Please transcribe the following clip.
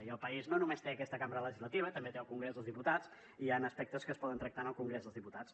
i el país no només té aquesta cambra legislativa també té el congrés dels diputats i hi han aspectes que es poden tractar en el congrés dels diputats